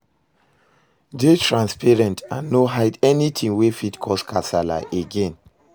dey transparent and no hide anytin wey fit cause kasala again